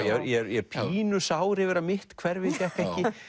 ég er pínu sár yfir að mitt hverfi fékk